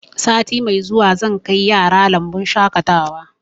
Sati mai zuwa zan kai yara lambun shaƙatawa